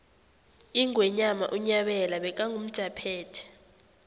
ingwenyama unyabela bekangumjaphethe